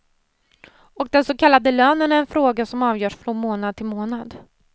Och den så kallade lönen är en fråga som avgörs från månad till månad.